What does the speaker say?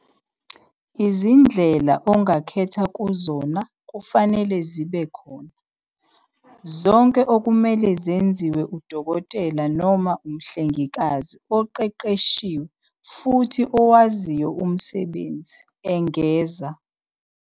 "Izindlela ongakhetha kuzona kufanele zibe khona, zonke okumele zenziwe udokotela noma umhlengikazi oqeqeshiwe futhi owaziyo umsebenzi," engeza."